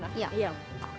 já